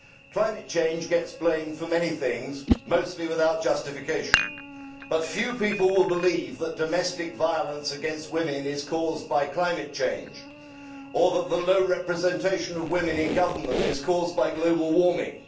Climate change gets blamed for many things, mostly without justification, but few people will believe that domestic violence against women is caused by climate change or that the low representation of women in government is caused by global warming.